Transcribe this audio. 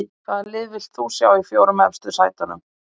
Hvaða lið viltu sjá í fjórum efstu sætunum?